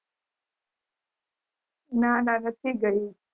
ના ના નથી ગયું